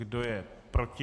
Kdo je proti?